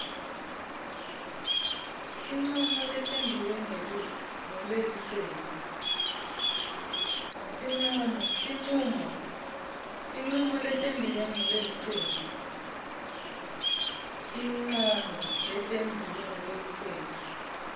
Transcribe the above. tincomo letentiwe ngulelicembu